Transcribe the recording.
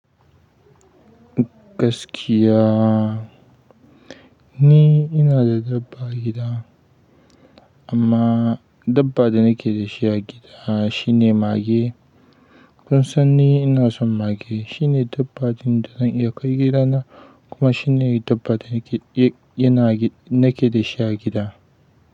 Gaskiya ni ina da dabba a gida amma dabba da nake da shi a gida shine mage. Kun sani ina son mage. Shine dabba ɗin da zan iya kai gida na kuma shine dabba da nake da shi a gida.